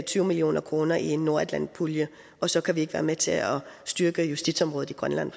tyve million kroner i en nordatlantisk pulje og så kan vi ikke være med til at styrke justitsområdet i grønland